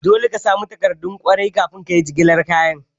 Dole ka samu takardun kwarai kafin kayi jigilar kayan.